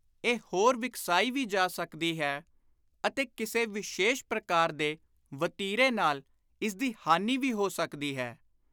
ਇਹ ਹੋਰ ਵਿਕਸਾਈ ਵੀ ਜਾ ਸਕਦੀ ਹੈ ਅਤੇ ਕਿਸੇ ਵਿਸ਼ੇਸ਼ ਪ੍ਰਕਾਰ ਦੇ ਵਤੀਰੇ ਨਾਲ ਇਸ ਦੀ ਹਾਨੀ ਵੀ ਹੋ ਸਕਦੀ ਹੈ।